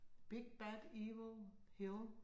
Big bad evil hill